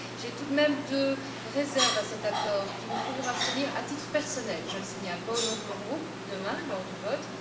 J'ai tout de même deux réserves à cet accord qui me feront m'abstenir à titre personnel, je le signale, pas au nom de mon groupe demain lors du vote.